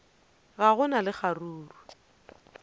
ga go na le kgaruru